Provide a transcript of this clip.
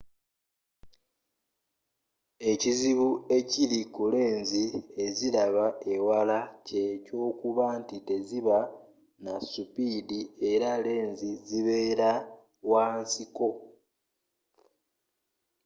ekizibu ekiri ku lenzi eziraba ewala kye kyokuba nti teziba na supidi era lenzi zibeera wa nsiko